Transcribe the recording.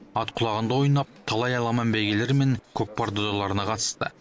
ат құлағында ойнап талай аламан бәйгелер мен көкпар додаларына қатысты